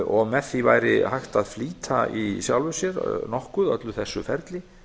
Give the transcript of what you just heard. og með því væri hægt að flýta í sjálfu sér nokkuð öllu þessu ferli